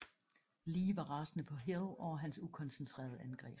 Lee var rasende på Hill over hans ukoncentrerede angreb